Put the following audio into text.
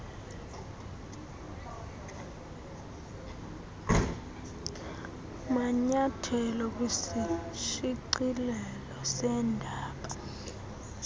manyethelo kwisishicilelo seendaba